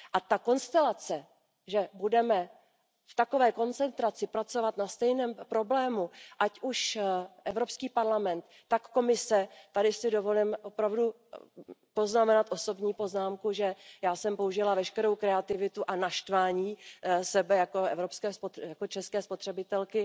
Ta konstelace, že budeme v takové koncentraci pracovat na stejném problému, ať už Evropský parlament, tak Komise tady si dovolím poznamenat osobní poznámku, že já jsem použila veškerou kreativitu a naštvání sebe jako české spotřebitelky